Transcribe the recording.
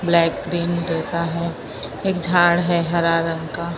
Black green जैसा है एक झाड़ है हरा रंग का।